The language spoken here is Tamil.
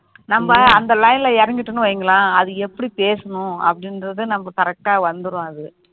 நம்ம அந்த line ல இறங்கிட்டோன்னு வைங்களேன் அது எப்படி பேசணும் அப்படிங்குறது நமக்கு correct ஆ வந்துடும் அது